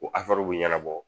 Ko bɛ ɲɛnabɔ